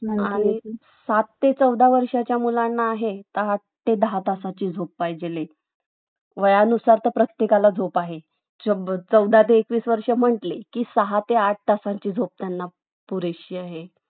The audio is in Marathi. आ त्याचा गाळा आहे तुम्हाला सांगू का sir गाळा तरी त्याचा असन